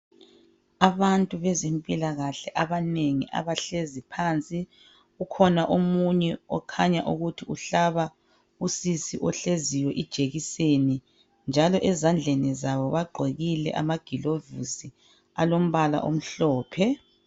Abantu bezempilakahle abanengi abahlezi phansi; ukhona omunye okhanya ukuthi uhlaba usisi ohleziyo ijekiseni njalo ezandleni zabo, bagqokile ama-gloves alombala omhlophe.